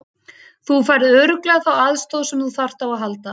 Þú færð örugglega þá aðstoð sem þú þarft á að halda.